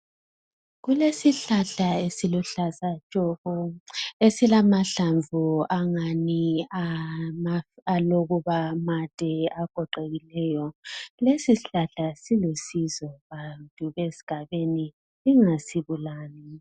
Kulesihlahla esiluhlaza tshoko esilamahlamvu angathi alokubamade agoqekileyo. Lesi sihlahla silusizo bantu esigabeni singasibulali.